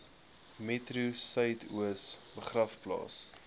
metro suidoos begraafplaas